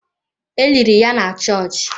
E liri ya na chọọchị.